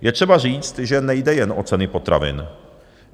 Je třeba říct, že nejde jen o ceny potravin.